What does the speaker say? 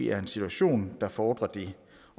er en situation der fordrer det